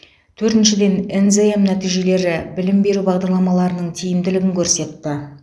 төртіншіден нзм нәтижелері білім беру бағдарламаларының тиімділігін көрсетті